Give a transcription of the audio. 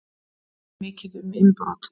Mikið um innbrot